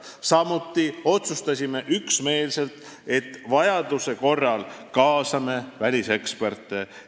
Samuti otsustasime üksmeelselt, et vajaduse korral kaasame väliseksperte.